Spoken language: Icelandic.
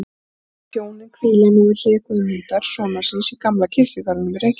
Þau hjónin hvíla nú við hlið Guðmundar, sonar síns, í gamla kirkjugarðinum í Reykjavík.